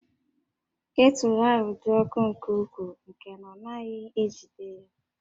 Ketụlụ ahụ dị ọkụ nke ukwuu nke na ọ naghị ejide ya